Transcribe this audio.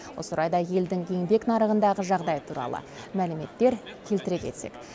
осы орайда елдің еңбек нарығындағы жағдайы туралы мәліметтер келтіре кетсек